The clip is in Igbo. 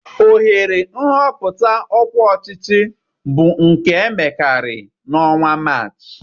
Ohere nhọpụta ọkwá ọchịchị bụ nke a emekarị na ọnwa Maachị.